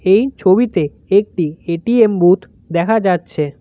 এই ছবিতে একটি এ_টি_এম বুথ দেখা যাচ্ছে।